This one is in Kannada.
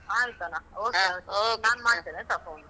ಆಯ್ತನ. okay okay . ನಾನ್ ಮಾಡ್ತೇನಾಯ್ತ phone ಉ.